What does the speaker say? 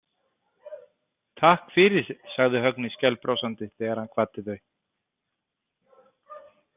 Takk fyrir, sagði Högni skælbrosandi þegar hann kvaddi þau.